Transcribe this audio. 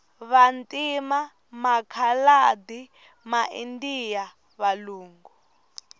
vantima makhaladi ma indiya valungu